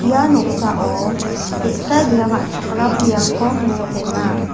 ia noksao ge·sa bia ka·chakram biapko mesokenga.